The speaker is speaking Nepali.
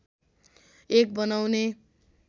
एक बनाउने